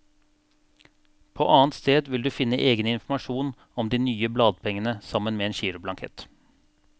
På annet sted vil du finne egen informasjon om de nye bladpengene sammen med giroblankett.